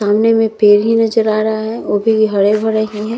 सामने में पेड़ ही नजर आ रहा है वो भी हरे-भरे हैं |